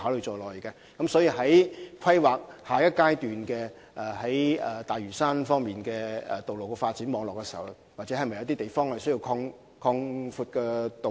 在大嶼山下階段的道路發展網絡進行規劃時，有些地方是否須擴闊道路？